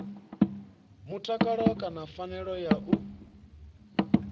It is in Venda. mutakalo kana phanele ya u